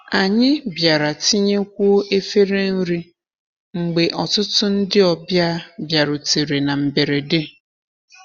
Anyị bịara tinyekwuo efere nri mgbe ọtụtụ ndị ọbịa bịarutere na mberede.